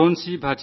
Varun C